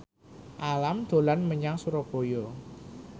Alam dolan menyang Surabaya